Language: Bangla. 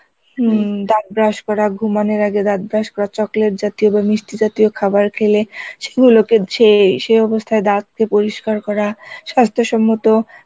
হম দাঁত brush করা ঘুমানোর আগে দাঁত brush করা চকলেট জাতীয় বা মিষ্টি জাতীয় খাবার খেলে সেই অবস্থায় দাঁত পরিষ্কার করা সাস্থ্য সম্মত